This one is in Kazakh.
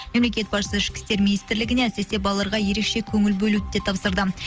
мемлекет басшысы ішкі істер министрлігіне әсіресе балаларға ерекше көңіл бөлуді де тапсырды